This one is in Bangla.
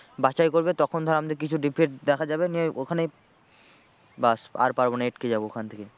বাছাই করবে তখন ধর আমাদের কিছু defect দেখা যাবে নিয়ে ওখানে ব্যাস আর পারবো না আটকে যাবো ওখান থেকে।